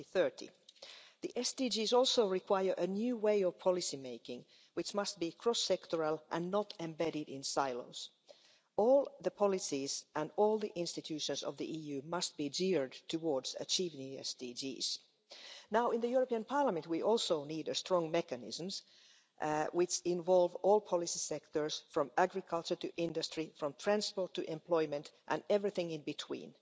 2030. The SDGs also require a new way of policy making, which must be cross sectoral and not embedded in silence. All the policies and all the institutions of the EU must be geared towards achieving the SDGs. In the European Parliament, we also need strong mechanisms which involve all policy sectors, from agriculture to industry, from transport to employment, and everything in between.